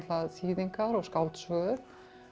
þýðingar og skáldsögur